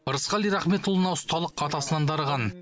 ырысқали рахметұлына ұсталық атасынан дарыған